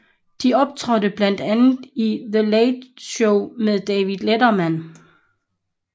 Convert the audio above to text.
De optrådte blandt andet i The Late Show med David Letterman